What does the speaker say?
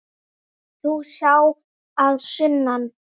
Ert þú sá að sunnan?